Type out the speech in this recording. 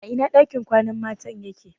A ina ɗakin kwanan mata yake?